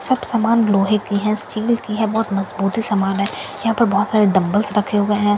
सब समान लोहे की है स्टील की है बहुत मजबूती समान है यहाँ पर बहुत सारे डंबल्‍स रखे हुए हैं।